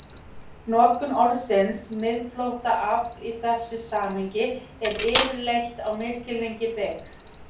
Notkun orðsins miðflóttaafl í þessu samhengi er yfirleitt á misskilningi byggð.